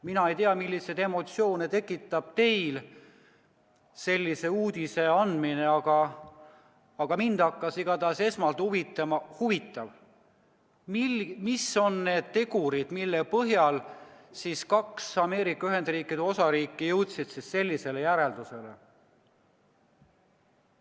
Mina ei tea, milliseid emotsioone tekitab teis sellise uudise kuulmine, aga mind hakkas igatahes huvitama, et mis on need tegurid, mille põhjal kaks Ameerika Ühendriikide osariiki jõudsid sellisele järeldusele.